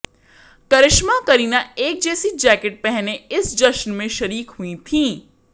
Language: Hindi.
करिश्मा और करीना एक जैसी जैकेट पहने इस जश्न में शरीक हुई थीं